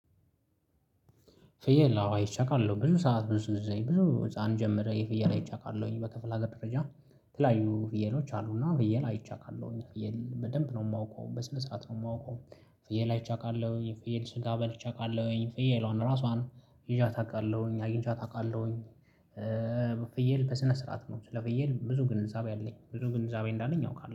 ፍየል አዎ አይቼ አቃለሁ ብዙ ሰዓት ብዙ ጊዜ ብዙ ህፃን ጀምሬ ፍየል አይቼ አቃለሁ በክፍል ሀገር ደረጃ ተለያዩ ፍየሎች አሉና ፍየል አይቼ አቃለሁ ፍየል በደንብ ነው የማውቀው በስነ ስርዓት ነው የማውቀው። ፍየል አይቼ አቃለሁ ፍየል ስጋ በልቼ አውቃለሁኝ ፍየሏን ራሷን ይዣት አውቃለሁኝ አግኝቻት አውቃለሁኝ። ፍየል በስነ ስርዓት ነው ስለ ፍየል ብዙ ግንዛቤ አለኝ ብዙ ግንዛቤ እንዳለኝ አውቃለሁ